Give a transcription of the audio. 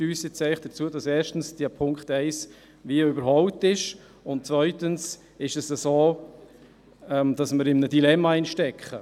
Diese führt dazu, dass erstens der Punkt 1 überholt ist, und zweitens ist es so, dass wir in einem Dilemma stecken.